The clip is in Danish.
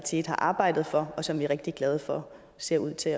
side har arbejdet for og som vi er rigtig glade for ser ud til